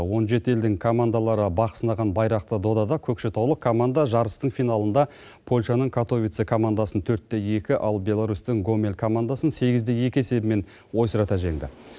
он жеті елдің командалары бақ сынаған байрақты додада көкшетаулық команда жарыстың финалында польшаның катовице командасын төрт те екі ал беларусьтің гомель командасын сегіз де екі есебімен ойсырата жеңді